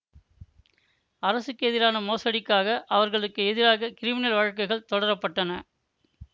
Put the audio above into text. அரசுக்கு எதிரான மோசடிக்காக அவர்களுக்கு எதிராக கிரிமினல் வழக்குகள் தொடர பட்டன